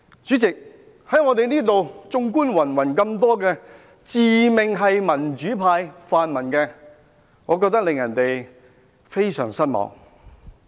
主席，綜觀云云自命"民主派"、"泛民"的議員，我覺得他們令人非常失望。